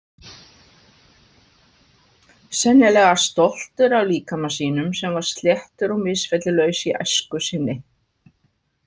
Sennilega stoltur af líkama sínum sem var sléttur og misfellulaus í æsku sinni.